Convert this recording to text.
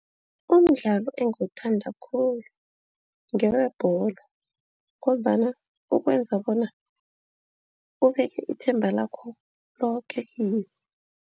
Umdlalo engiwuthanda khulu ngewebholo ngombana ukwenza bona ubeke ithemba lakho loke kiwo.